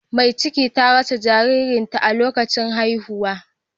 Mai cikin ta rasa jaririn ta a lokacin haihuwa.